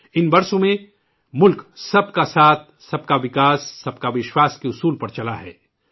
ان سالوں میں ملک 'سب کا ساتھ، سب کا وکاس، سب کا وشواس' کے منتر پر چلا ہے